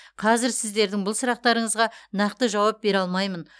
қазір сіздердің бұл сұрақтарыңызға нақты жауап бере алмаймын